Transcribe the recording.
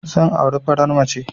Zan auri farar mace